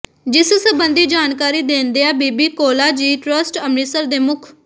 ਜਿਸ ਸਬੰਧੀ ਜਾਣਕਾਰੀ ਦੇਦਿਆਂ ਬੀਬੀ ਕੌਲਾਂ ਜੀ ਟਰੱਸਟ ਅੰਮ੍ਰਿਤਸਰ ਦੇ ਮੁਖ